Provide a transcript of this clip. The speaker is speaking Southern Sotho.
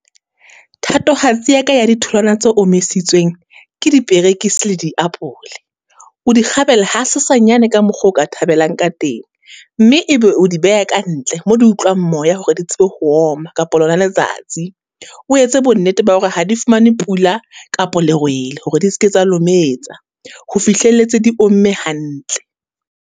Thatohatsi ya ka ya di tholwana tse omisitsweng, ke diperekisi le di apole. O di kgabela ha sesanyane ka mokgo o ka thabelang ka teng, mme e be o di beha ka ntle, mo di utlwang moya hore di tsebe ho oma kapo lona letsatsi. O etse bonnete ba hore ha di fumane pula kapo lerwele, hore di ske tsa lometsa. Ho fihlelletse di omme hantle.